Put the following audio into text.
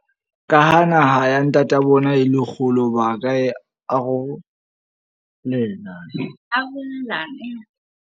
Ka ha naha ya ntata bona e le kgolo ba ka e arolena arolelana.